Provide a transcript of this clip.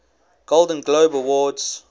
golden globe awards